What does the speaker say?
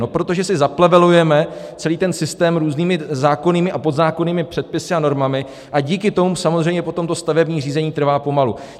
No protože si zaplevelujeme celý ten systém různými zákonnými a podzákonnými předpisy a normami a díky tomu samozřejmě potom to stavební řízení trvá pomalu.